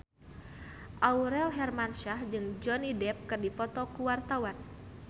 Aurel Hermansyah jeung Johnny Depp keur dipoto ku wartawan